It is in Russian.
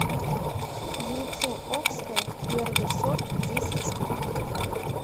яйцо окское первый сорт десять штук